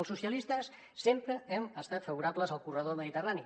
els socialistes sempre hem estat favorables al corredor mediterrani